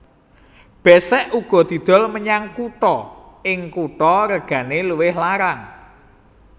Besek uga didol menyang kutha ing kutha regane luwih larang